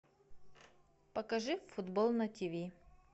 покажи футбол на тв